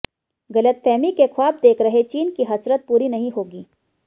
गलतफहमी के ख्वाब देख रहे चीन की हसरत पूरी नहीं होगी